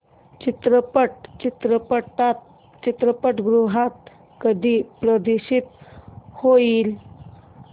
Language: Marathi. चित्रपट चित्रपटगृहात कधी प्रदर्शित होईल